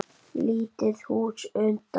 Lítið hús utan.